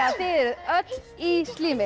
öll í